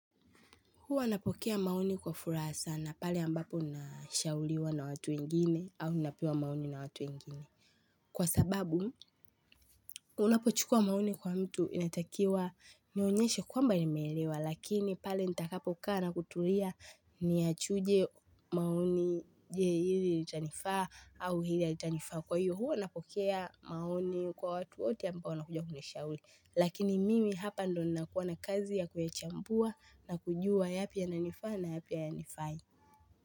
Huwa napokea maoni kwa furaha na pale ambapo ninashauliwa na watu ingine au unapewa maoni na watu ingine. Kwa sababu, unapo chukua maoni kwa mtu inatakiwa nionyeshe kwamba nimelewa lakini pale nitakapokaa na kutulia ni yachuje maoni je hili litanifaa au hili halitanifaa kwa hiyo. Huo napokea maoni kwa watu wote a mbao nakujua kunisha uli. Lakini mimi hapa ndo nina kuwa na kazi ya kuyachambua na kujua yapi ya nanifaa na yapi ha ya nifai.